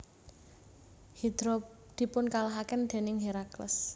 Hidra dipunkalahaken déning Herakles